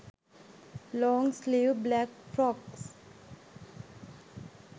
long sleeve black frocks